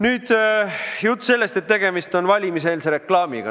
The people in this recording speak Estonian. Nüüd sellest jutust, nagu tegemist oleks valimiseelse reklaamiga.